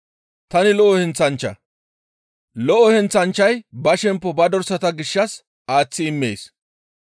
«Tani lo7o heenththanchcha; lo7o heenththanchchay ba shemppo ba dorsata gishshas aaththi immees.